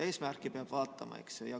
Eesmärke peab vaatama.